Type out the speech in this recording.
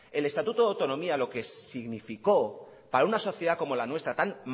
el estatuto de autonomía lo que significó para una sociedad como la nuestra tan